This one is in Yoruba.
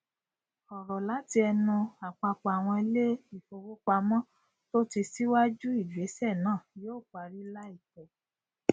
ọrọ láti ẹnu àpapọ àwọn ilé ìfowópamọ tó ti síwájú ìgbésẹ náà yóò parí láìpẹ